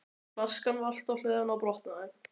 Flaskan valt á hliðina og brotnaði.